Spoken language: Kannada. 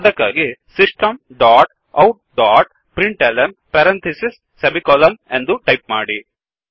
ಅದಕ್ಕಾಗಿSystemಸಿಸ್ಟಮ್ ಡೊಟ್ outಔಟ್ ಡೊಟ್ println ಎಂದು ಟಾಯಿಪ್ ಮಾಡಿ